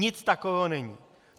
Nic takového není.